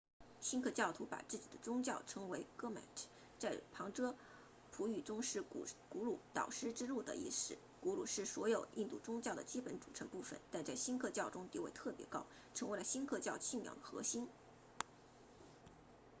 锡克教徒把自己的宗教称为 gurmat 在旁遮普语中是古鲁导师之路的意思古鲁是所有印度宗教的基本组成部分但在锡克教中地位特别高成为了锡克教信仰的核心